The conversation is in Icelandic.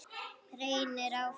Reynir áfram.